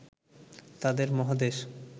তাদের মহাদেশ